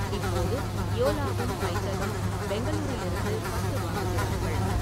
இப்போது இயோலாவும் பைத்தனும் பெங்களூரிலிருந்து பட்டு வாங்குகிறார்கள்.